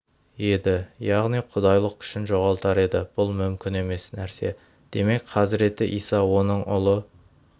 еді яғни құдайлық күшін жоғалтар еді бұл мүмкін емес нәрсе демек хазіреті иса оның ұлы